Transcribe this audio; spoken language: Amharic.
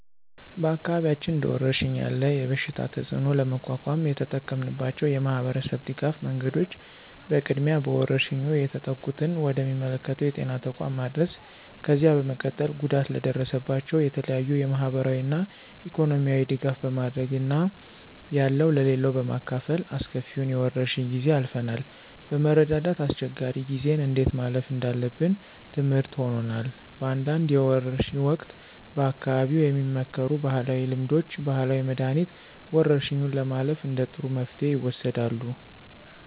በአካባቢያችን እንደወረርሽኝ ያለ የበሽታ ተፅእኖ ለመቋቋም የተጠቀምንባቸው የማህበረሰብ ድጋፍ መንገዶች በቅድሚያ በወረርሽኙ የተጠቁትን ወደ ሚመለከተው የጤና ተቋም ማድረስ፣ ከዚያ በመቀጠል ጉዳት ለደረሰባቸው የተለያዩ የማህበራዊና ኢኮኖሚያዊ ድጋፍ በማድረግ እና ያለው ለሌለው በማካፈል አስከፊውን የወረርሽ ጊዜ አልፈናል። በመረዳዳት አስቸጋሪ ጊዜን እንዴት ማለፍ እንዳለብን ትምርህት ሆኖናል። በአንዳንድ የወርሽ ወቅት በአካባቢው የሚመከሩ ባህላዊ ልምዶች፣ ባህላዊ መድኃኒት፣ ወረርሽኙን ለማለፍ እንደ ጥሩ መፍትሄ ይወሰዳሉ።